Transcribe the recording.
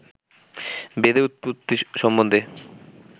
বেদের উৎপত্তি সম্বন্ধে